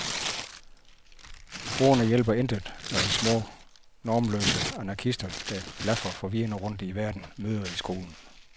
Ordene hjælper intet, når de små normløse anarkister, der blafrer forvirrede rundt i verden, møder i skolen.